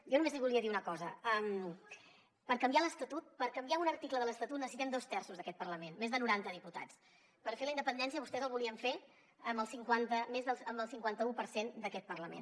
jo només li volia dir una cosa per canviar l’estatut per canviar un article de l’estatut necessitem dos terços d’aquest parlament més de noranta diputats per fer la independència vostès la volien fer amb el cinquanta un per cent d’aquest parlament